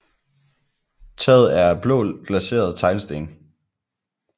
Taget er af blå glaserede teglsten